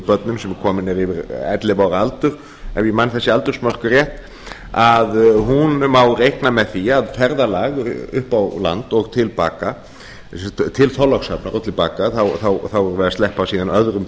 börnum sem eru komin yfir ellefu ára aldur ef ég man þessi aldursmörk rétt má reikna með því að ferðalag til þorlákshafnar og til baka þá munum við sleppa síðan öðrum